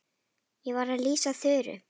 Ég var að lýsa Þuru.